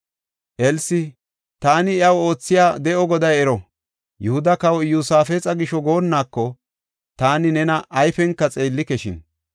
Elsi, “Taani iyaw oothiya De7o Goday ero! Yihuda Kawa Iyosaafexa gisho goonnako taani nena ayfenka xeellikeshin.